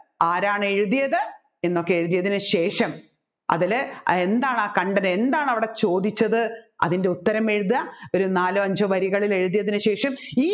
ആരാണ് എഴുതിയത് എന്നൊക്കെ എഴുതിയതിന് ശേഷം അതിൽ എന്താണ് ആ കണ്ടത് എന്താണ് അവിടെ ചോദിച്ചത് അതിൻെറ ഉത്തരം എഴുതുക ഒരു നാലോ അഞ്ചോ വരികളിൽ എഴുതിയതിന് ശേഷം ഈ